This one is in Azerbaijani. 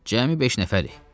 Cəmi beş nəfərik.